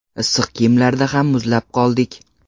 Issiq kiyimlarda ham muzlab qoldik.